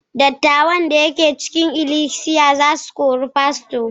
dattawan da ke cikin ikilisiya za su kori fasto